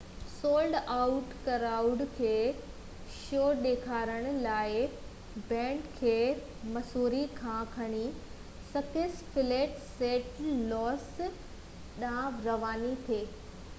sold out crowd کي show ڏيکارڻ لاءِ بينڊ کي مسوري مان کڻي سڪس فليگس سينٽ لوئس ڏانهن رواني ٿي